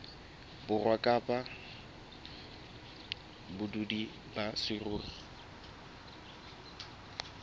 borwa kapa badudi ba saruri